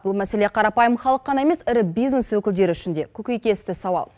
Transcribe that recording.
бұл мәселе қарапайым халық қана емес ірі бизнес өкілдері үшін де көкейкесті сауал